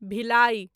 Bhilai